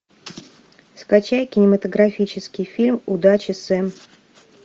скачай кинематографический фильм удачи сэм